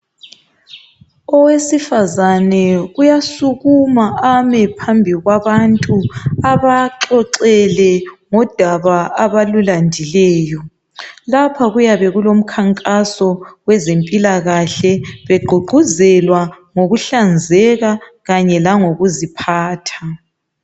Owesifazane uyasukuma ame phambi kwabantu abaxoxele ngodaba abalulandileyo. Lapha kuyabe kulomkhankaso wezempilakahle begqugquzelwa ngokuhlanzeka kanye lokuziphatha.